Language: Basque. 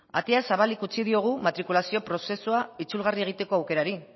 ateak zabalik utzi diogu matrikulazio prozesua itzulgarria egiteko aukerari